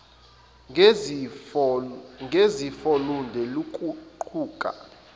ngezifo lude luguquka